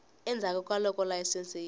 endzhaku ka loko layisense yi